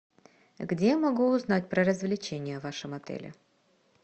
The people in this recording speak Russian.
где я могу узнать про развлечения в вашем отеле